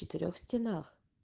четырёх стенах